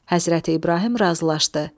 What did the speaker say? Həzrəti İbrahim razılaşdı.